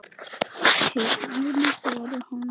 Síðustu árin voru honum erfið.